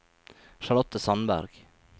Charlotte Sandberg